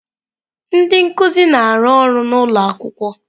Ndị nkuzi na-arụ ọrụ n'ụlọ akwụkwọ.